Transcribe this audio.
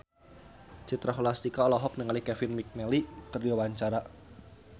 Citra Scholastika olohok ningali Kevin McNally keur diwawancara